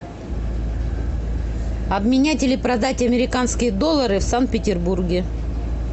обменять или продать американские доллары в санкт петербурге